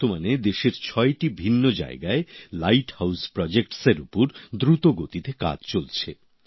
বর্তমানে দেশের ছয়টি ভিন্ন জায়গায় লাইট হাউস প্রোজেক্টএর উপর দ্রুত গতিতে কাজ চলছে